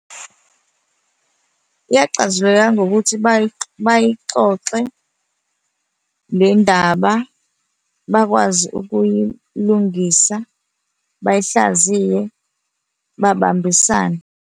Yaxazululeka ngokuthi bayixoxe le ndaba bakwazi ukuyilungisa, bayihlaziye babambisane.